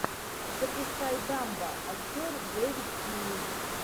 запускай дамбо актер дэвид тьюлис